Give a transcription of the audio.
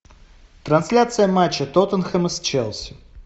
трансляция матча тоттенхэма с челси